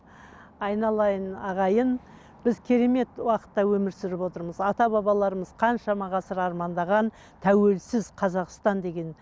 айналайын ағайын біз керемет уақытта өмір сүріп отырмыз ата баларымыз қаншама ғасыр армандаған тәуелсіз қазақстан деген